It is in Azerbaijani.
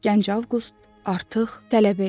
Gənc Avqust artıq tələbə idi.